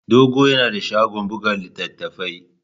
Dogo yana da shagon buga littattafai.